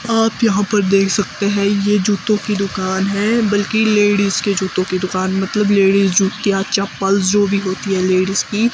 आप यहां पर देख सकते हैं ये जूतों की दुकान है बल्कि लेडीज के जूतों की दुकान मतलब लेडीज जूतियां चप्पल जो भी होती हैं लेडीज की।